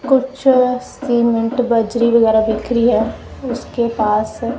कुछ सीमेंट बजरी वगैरा बिखरी है उसके पास --